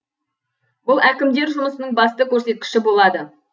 бұл әкімдер жұмысының басты көрсеткіші болады